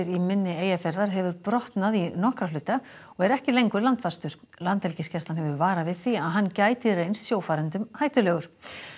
í mynni Eyjafjarðar hefur brotnað í nokkra hluta og er ekki lengur landfastur landhelgisgæslan hefur varað við því að hann gæti reynst sjófarendum hættulegur